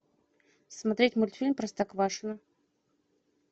смотреть мультфильм простоквашино